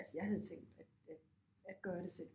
Altså jeg havde tænkt at at at gøre det selv